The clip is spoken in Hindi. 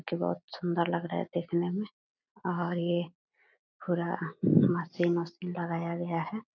जो कि बहुत सुंदर लग रहा है देखने में और ये पूरा मशीन वशीन लगाया गया है।